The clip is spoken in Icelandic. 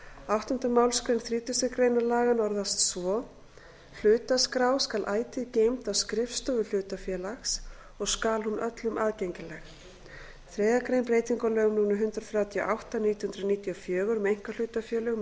áttundu málsgrein þrítugustu greinar laganna orðast svo hlutaskrá skal ætíð geymd á skrifstofu hlutafélags og skal hún öllum aðgengileg þriðju grein breyting á lögum númer hundrað þrjátíu og átta nítján hundruð níutíu og fjögur um einkahlutafélög með